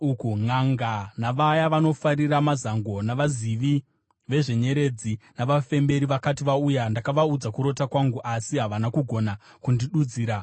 Nʼanga, navaya vanofarira mazango, navazivi vezvenyeredzi navafemberi vakati vauya, ndakavaudza kurota kwangu, asi havana kugona kundidudzira.